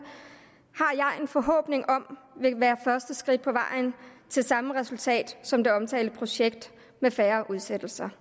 har jeg en forhåbning om vil være første skridt på vejen til samme resultat som det omtalte projekt med færre udsættelser